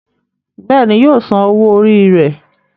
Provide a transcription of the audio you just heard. Béèni yíò sàn owó Orí rẹ.